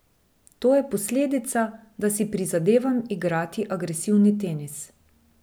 To je posledica, da si prizadevam igrati agresivni tenis.